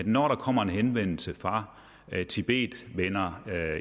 når der kommer en henvendelse fra tibetvenner